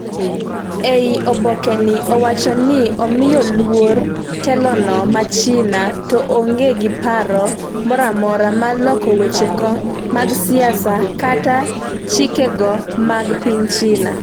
ei obokeno, owacho ni omiyo luor telono ma China toonge gi paro moramora mar loko wechego mag siasa kata chikego mag piny China